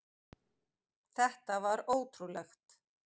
Þetta var ótrúlegt.